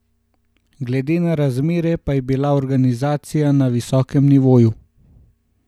Glede na razmere pa je bila organizacija na visokem nivoju.